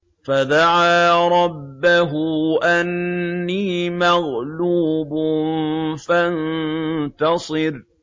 فَدَعَا رَبَّهُ أَنِّي مَغْلُوبٌ فَانتَصِرْ